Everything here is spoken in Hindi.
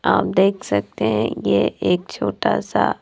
आप देख सकते हैं ये एक छोटा सा--